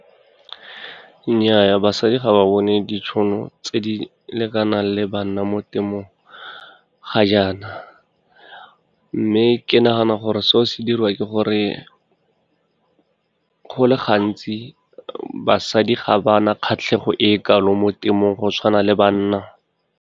Nnyaa, basadi ga ba bone ditšhono tse di lekanang le banna mo temothuong ga jaana, mme ke nagana gore seo se diriwa ke gore go le gantsi basadi ga ba na kgatlhegelo e kalo mo temothuong go tshwana le banna.